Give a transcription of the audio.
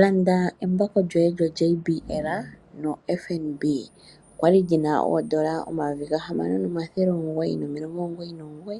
Landa embako lyoye lyoJBL no FNB. kwali lyina oondola o6,999